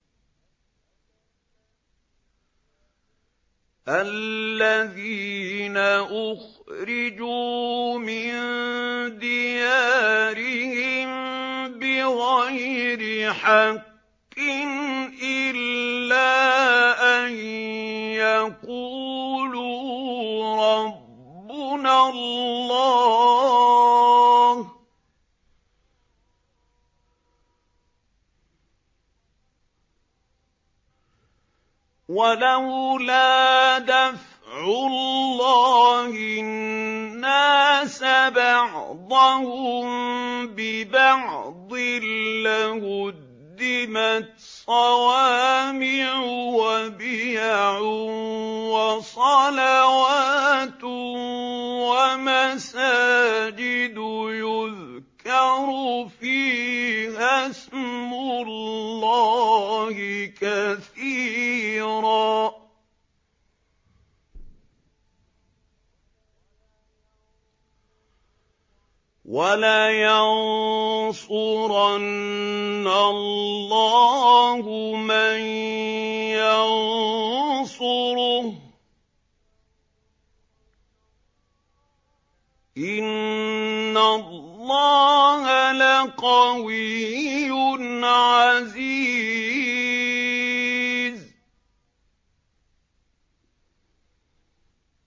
الَّذِينَ أُخْرِجُوا مِن دِيَارِهِم بِغَيْرِ حَقٍّ إِلَّا أَن يَقُولُوا رَبُّنَا اللَّهُ ۗ وَلَوْلَا دَفْعُ اللَّهِ النَّاسَ بَعْضَهُم بِبَعْضٍ لَّهُدِّمَتْ صَوَامِعُ وَبِيَعٌ وَصَلَوَاتٌ وَمَسَاجِدُ يُذْكَرُ فِيهَا اسْمُ اللَّهِ كَثِيرًا ۗ وَلَيَنصُرَنَّ اللَّهُ مَن يَنصُرُهُ ۗ إِنَّ اللَّهَ لَقَوِيٌّ عَزِيزٌ